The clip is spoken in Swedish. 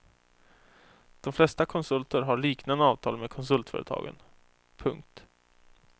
De flesta konsulter har liknande avtal med konsultföretagen. punkt